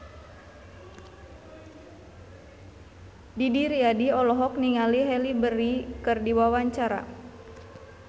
Didi Riyadi olohok ningali Halle Berry keur diwawancara